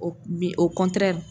o bi